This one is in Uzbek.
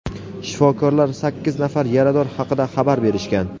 Shifokorlar sakkiz nafar yarador haqida xabar berishgan.